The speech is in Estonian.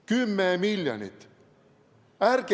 10 miljonit!